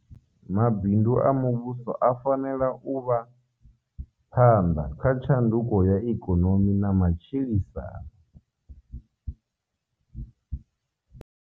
Mabindu a muvhuso a fanela u vha phanḓa kha tshanduko ya ikonomi na matshilisano.